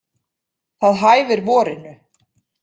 Það hæfir vorinu.